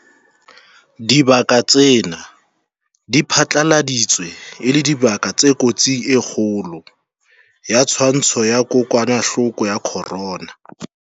Dibaka tsena di phatlaladitswe e le dibaka tse kotsing e kgolo ya tshwaetso ya kokwanahloko ya corona.